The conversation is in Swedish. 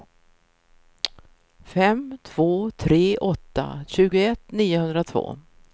fem två tre åtta tjugoett niohundratvå